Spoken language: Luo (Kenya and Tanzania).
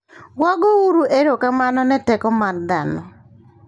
Wagouru Erokamano ne Teko mar Dhano!